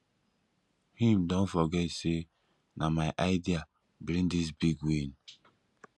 him don forget sey na my idea bring dis big win